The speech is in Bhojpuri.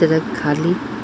ट्रक खाली --